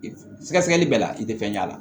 Sɛgɛsɛgɛli bɛɛ la i tɛ fɛn ɲ'a la